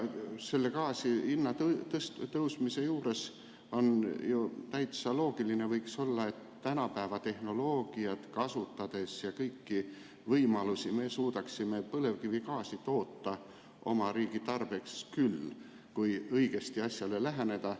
Gaasi hinna tõustes on ju täitsa loogiline, et kasutades tänapäeva tehnoloogiat ja kõiki võimalusi, me suudaksime põlevkivigaasi toota oma riigi tarbeks küll, kui õigesti asjale läheneda.